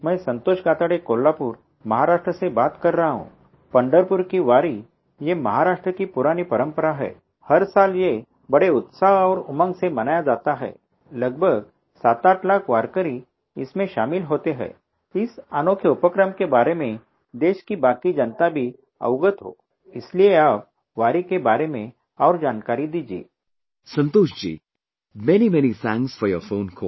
Santoshji, many many thanks for your phone call